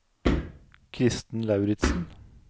Kristen Lauritsen